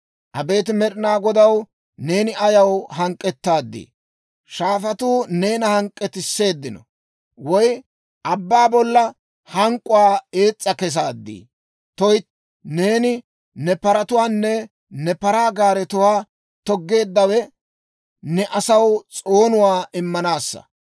Abeet Med'ina Godaw, neeni ayaw hank'k'ettaadii? Shaafatuu neena hank'k'etsisseeddino? Woy abbaa bolla hank'k'uwaa ees's'a kesaadii? Tuytti, neeni ne paratuwaanne ne paraa gaaretuwaa toggeeddawe ne asaw s'oonuwaa immanaassa.